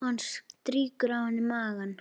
Og hann strýkur á henni magann.